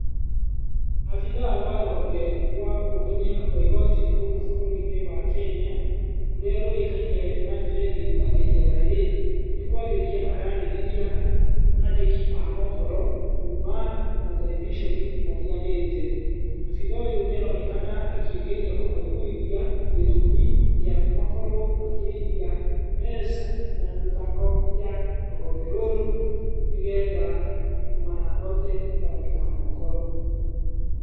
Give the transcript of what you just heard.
Abithaa wa rũhonge rwa ũngania wa igoti gũkũ bũrũri-inĩ wa Kenya rũrĩa rũĩkaine na njĩra ĩngĩ ta KRA. Nĩkwarĩria ararĩrĩria andĩki a mohoro kuma materebiconi matiganĩte. Abithaa ũyũ nĩaronekana akĩgeria kũmaiguithia gĩtũmi kĩa makorwo makĩrĩhia mbeca na mĩbango ya rũhonge rũrũ nĩgetha mahote kwandĩka mohoro.